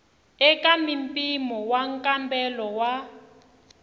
eka mimpimo wa nkambelo wa